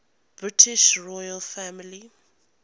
british royal family